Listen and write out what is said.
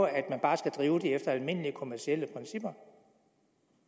at man bare skal drive det efter almindelige kommercielle principper